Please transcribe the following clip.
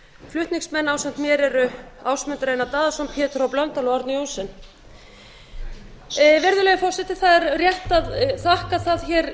flutningsmenn ásamt mér eru ásmundur einar daðason pétur h blöndal og árni johnsen virðulegi forseti það er rétt að þakka það hér